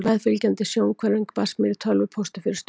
Meðfylgjandi sjónhverfing barst mér í tölvupósti fyrir stuttu.